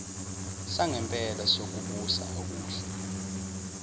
sangempela sokubusa okuhle